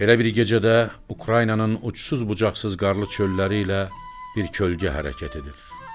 Belə bir gecədə Ukraynanın ucsuz-bucaqsız qarlı çölləri ilə bir kölgə hərəkət edir.